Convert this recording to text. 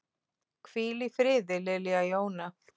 Hvíl í friði, Lilja Jóna.